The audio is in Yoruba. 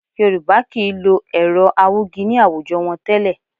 Yorùbá kì í lo ẹ̀rọ awúgi ní àwùjọ wọn tẹ́lẹ̀